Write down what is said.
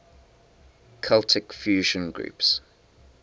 celtic fusion groups